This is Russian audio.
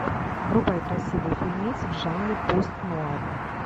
врубай красивый фильмец в жанре пост нуар